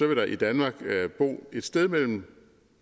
vil der i danmark bo et sted mellem